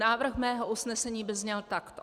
Návrh mého usnesení by zněl takto: